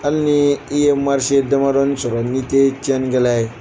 Hali n'i ye marise damadɔni sɔrɔ ni tɛ tiɲɛnnikɛla ye